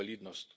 invalidnost.